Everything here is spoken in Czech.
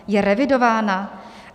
Je revidována?